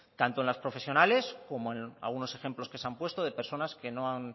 tanto las profesionales como en algunos ejemplos que se han puesto de personas que no han